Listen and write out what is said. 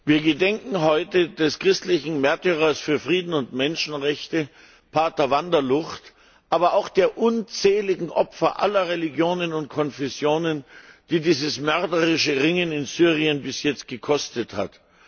Wir gedenken heute des christlichen Märtyrers für Frieden und Menschenrechte, Pater van der Lugt, aber auch der unzähligen Opfer aller Religionen und Konfessionen, die dieses mörderische Ringen in Syrien bis jetzt gekostet hat.